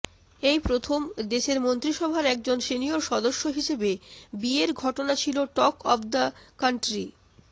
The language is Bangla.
এই প্রথম দেশের মন্ত্রিসভার একজন সিনিয়র সদস্য হিসেবে বিয়ের ঘটনা ছিল টক অব দ্য কান্ট্রি